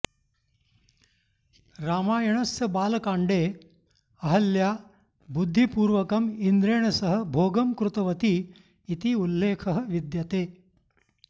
रामायणस्य बालकाण्डे अहल्या बुद्धिपूर्वकम् इन्द्रेण सह भोगं कृतवती इति उल्लेखः विद्यते